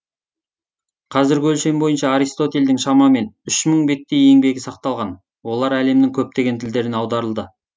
қазіргі өлшем бойынша аристотельдің шамамен үш мың беттей еңбегі сақталған олар әлемнің көптеген тілдеріне аударылды